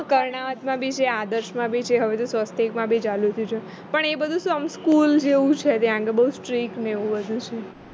કરણાવટમાં બી છે આદર્શમાં બી છે હવે તો સ્વસ્તિકમાં બી ચાલુ છે પણ એ બધું શું આમ school જેવું છે ત્યાં આગળ બોવ strict ને એવું બધું છે